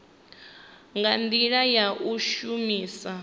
nga ndila ya u shumisa